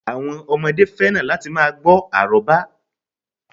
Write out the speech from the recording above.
Àwọn ọmọdé fẹ́ràn láti ma gbọ́ àrọ́bá